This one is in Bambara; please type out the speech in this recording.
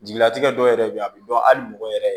Jigilatigɛ dɔw yɛrɛ bɛ yen a bɛ dɔn hali mɔgɔ yɛrɛ